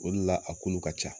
O de la, a kulu ka ca.